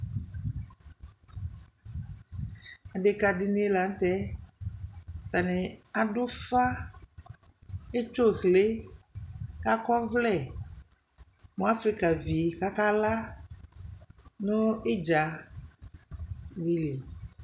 Adekǝ dɩnɩ la nʋ tɛ Atanɩ adʋ ʋfa etso ʋlɩ kʋ akɔ ɔvlɛ mʋ afrikavi kʋ akala nʋ ɩdza dɩ li